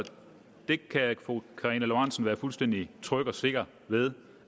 fru karina lorentzen være fuldstændig tryg og sikker ved